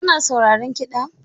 Kana sauraron kiɗa?